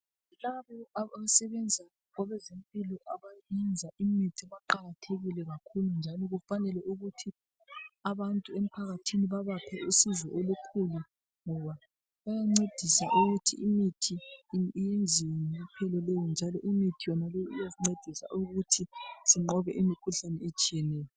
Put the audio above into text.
Labo abasebenza kwezempilo abayenza imithi baqakathekile kakhulu njalo kufanele ukuthi abantu emphakathini babaphe usizo olukhulu ngoba bayancedisa ukuthi imithi iyenziwe njalo imithi leyo iyasincedisa ukuthi sinqobe imikhuhlane ehlukeneyo.